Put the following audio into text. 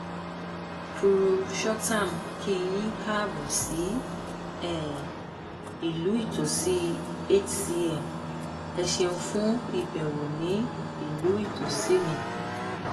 purushottam kí yín kaabọ sí um ìlú ìtòsí hcm ẹ ṣéun fún ìbẹwò ní ìlú ìtòsí mi